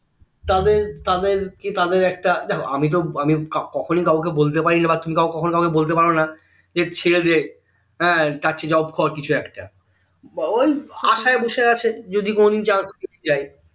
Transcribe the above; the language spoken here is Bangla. তাদের তাদের কি তাদের একটা দেখো আমি তো আমি কখনো কাউকে বলতে পারি না বা তুমি কাওকে বলতে পারো না যে ছেড়ে দে তারচেয়ে job কর কিছু একটা বা ওই আসায় বসে আছে যদি কোনোদিন চাকরী হয়ে যায়